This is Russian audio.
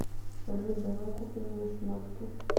салют давай купим мне шмотки